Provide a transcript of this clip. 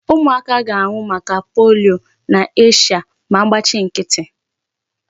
Ụmụaka ga-anwụ maka polio n'Asia ma agbachị nkịtị.